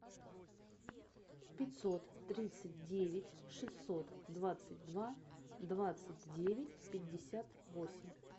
пятьсот тридцать девять шестьсот двадцать два двадцать девять пятьдесят восемь